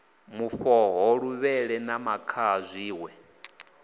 mufhoho luvhele na makhaha zwiṋwe